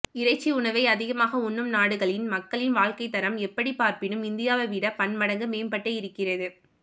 இறைச்சி உணவை அதிகமாக உண்ணும் நாடுகளில் மக்களின் வாழ்க்கைத்தரம் எப்படி பார்ப்பினும் இந்தியாவை விட பன்மடங்கு மேம்பட்டே இருக்கிறது